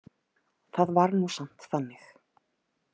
Það var nú samt þannig.